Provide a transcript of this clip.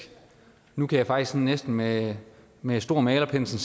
nu kan jeg faktisk næsten med med stor malerpensel